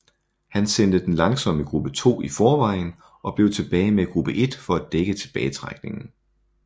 Han sendte den langsommere Gruppe 2 i forvejen og blev tilbage med Gruppe 1 for at dække tilbagetrækningen